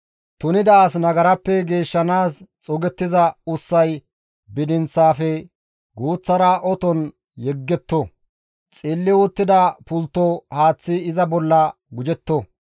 «Tunida as nagarappe geeshshanaas xuugettiza ussay bidinththafe guuththara oton yegetto; xilli uttida pultto haaththi iza bolla gujjetto.